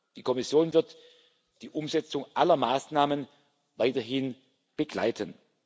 Die Kommission wird die Umsetzung aller Maßnahmen weiterhin begleiten.